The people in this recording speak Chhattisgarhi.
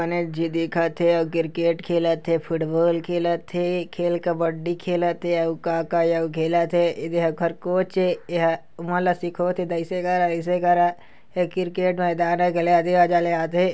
गणेश जी देखत थे क्रिकट खेलत थे फूटबॉल खेलत थे खेल कब्बडी खेलत थे अउ का का अउ खेलत थे ऐदे हा ओकर कोच ए। एहा ओमन ला सीखोत हे दईसे करा आईसे करा ए क्रिकेट मैदान ए